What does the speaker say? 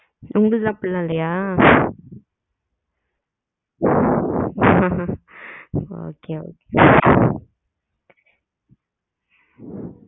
உங்களது எல்லாம் அப்டி எல்லாம் இல்லையா? இங்கயும் அப்டிதான் okay okay